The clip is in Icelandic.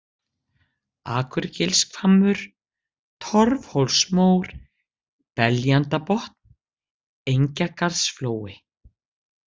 Akurgilshvammur, Torfhólsmór, Beljandabotn, Engjagarðsflói